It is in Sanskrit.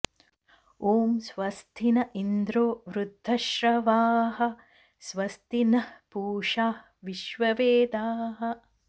ॐ स्वस्ति न इन्द्रो वृद्धश्रवाः स्वस्ति नः पूषाः विश्ववेदाः